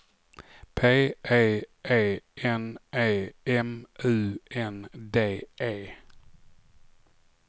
P E E N E M U N D E